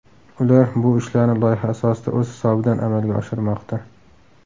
Ular bu ishlarni loyiha asosida o‘z hisobidan amalga oshirmoqda.